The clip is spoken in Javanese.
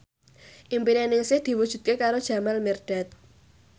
impine Ningsih diwujudke karo Jamal Mirdad